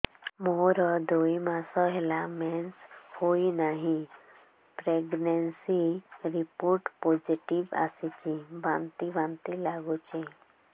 ମୋର ଦୁଇ ମାସ ହେଲା ମେନ୍ସେସ ହୋଇନାହିଁ ପ୍ରେଗନେନସି ରିପୋର୍ଟ ପୋସିଟିଭ ଆସିଛି ବାନ୍ତି ବାନ୍ତି ଲଗୁଛି